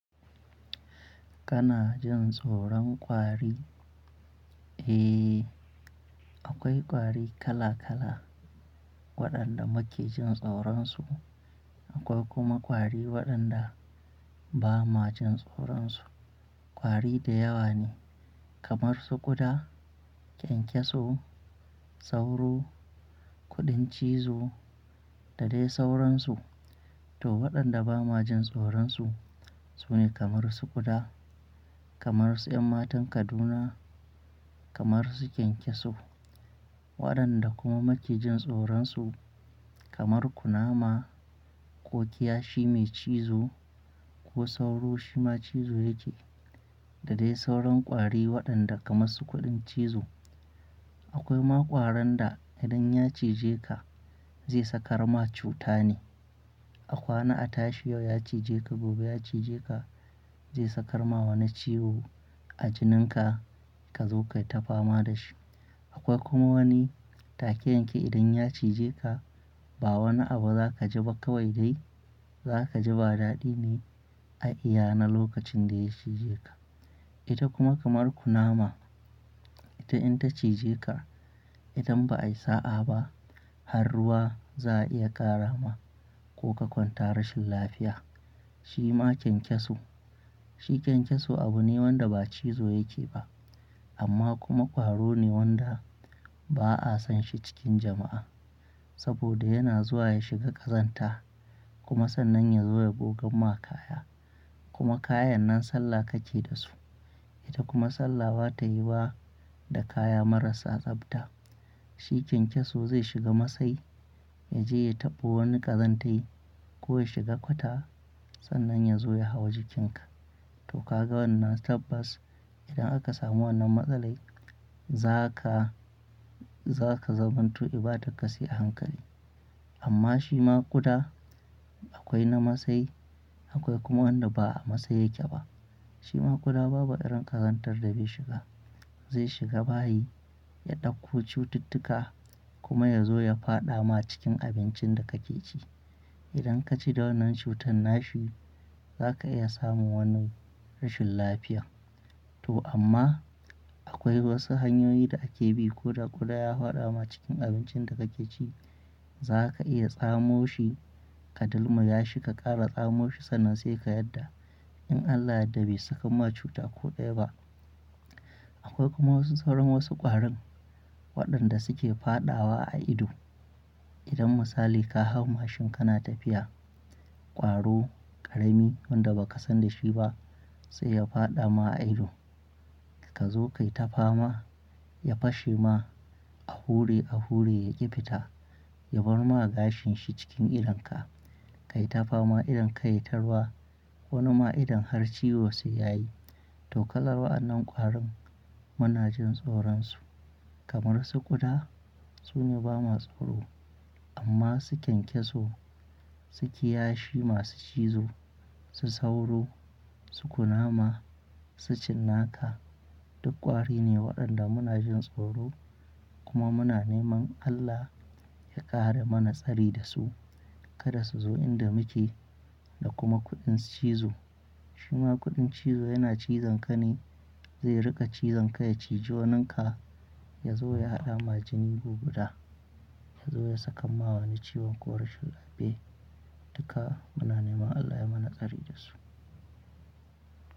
Kana jin tsoron kwari? Eh, akwai ƙwari kala kala waɗanda muke jin tsoron su. Akwai kuma kwari waɗanda ba ma jin tsoron su. Kwari da yawa ne kamar su ƙuda, kyankyaso, sauro, kuɗin cizo da dai sauransu. To, waɗanda ba ma jin tsoron su su ne kamar su ƙuda, kamar su 'ƴan matan Kaduna, kamar su kyankyaso. Waɗanda kuma muke jin tsoron su kamar kunama ko kiyashi mai cizo ko sauro shima cizo yake da dai sauran ƙwari waɗanda kamar su kuɗin cizo. Akwai ma ƙwaran da idan ya cije ka zai saka ma cuta ne. A kwana a tashi yau ya cije ka gobe ya cije ka zai saka ma wani ciwo a jininka ka zo ka yi ta fama da shi. Akwai kuma wani take yanke idan ya cije ka ba wani abu za ka ji ba kawai dai za ka ji ba daɗi ne a iya na lokacin da ya cije ka. Ita kuma kamar kunama ita in ta cije ka idan ba ayi sa'a ba har ruwa za a iya ƙara ma ko ka kwanta rashin lafiya. Shima kyankyaso, shi kyankyaso abu ne wanda ba cizo yake ba amma kuma ƙwaro ne wanda ba'a san shi cikin jama'a saboda yana zuwa ya shiga ƙazanta kuma sannan ya zo ya gogan ma kaya. Kuma kayan nan sallah ka ke da su. Ita kuma sallah ba ta yiyuwa da kaya marasa tsafta. Shi kyankyaso zai shiga masai ya je ya taɓo wani ƙazantai ko ya shiga kwata sannan ya zo ya hau jikinka. To ka ga wannan tabbas idan aka samu wannan matsalai za ka, za ka zamanto ibadar ka sai a hankali. Amma shima ƙuda akwai na masai akwai kuma wanda ba a masai yake ba. Shima ƙuda babu irin ƙazantar da bai shiga. Zai shiga bayi ya ɗauko cututtuka kuma ya zo ya fada ma cikin abincin da ka ke ci. Idan ka ci da wannan cutan nashi za ka iya samun wani rashin lafiya. To amma akwai wasu hanyoyi da ake bi ko da ƙuda ya faɗa ma cikin abincin da ka ke ci za ka iya tsamo shi ka dilmuyashi yashi ka ƙara tsamo shi sannan sai ka yarda in Allah ya yadda bai saka ma cuta ko daya ba. Akwai kuma wasu sauran wasu ƙwarin waɗanda su ke faɗawa a ido. Idan misali ka hau mashin kana tafiya, ƙwaro ƙarami wanda ba ka san da shi ba sai ya faɗa ma a ido ka zo ka yi ta fama ya fashe ma a hure a hure ya ƙi fita ya bar ma gashin shi cikin idonka. Ka yi ta fama idan ka yayi ta ruwa wani ma idon har ciwo sai ya yi. To kalar wa'yannan ƙwarin muna jin tsoron su kamar su ƙuda su ne bama tsoro. Amma su kyankyaso, su kiyashi masu cizo, su sauro, su kunama, su cinnaka duk ƙwari ne waɗanda muna jin tsoro kuma muna neman Allah ya kare mana tsari da su kada su zo inda muke da kuma kuɗin cizo. Shima kuɗin cizo yana cizon ka ne zai riƙa cizon ka ya ciji waninka ya zo ya haɗa ma jini gu guda ya zo ya sakan ma wani ciwon ko rashin lafiya. Duka muna neman Allah ya mana tsari da su.